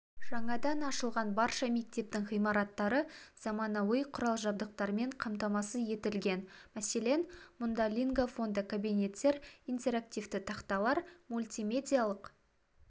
жаңадан ашылған барша мектептің ғимараттары заманауи құрал-жабдықтармен қамтамасыз етілген мәселен мұнда лингафонды кабинеттер интерактивті тақталар мультимедиялық